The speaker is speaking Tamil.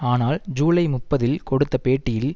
ஆனால் ஜூலை முப்பதில் கொடுத்த பேட்டியில்